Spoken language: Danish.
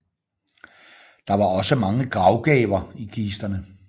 Der var også mange gravgaver i kisterne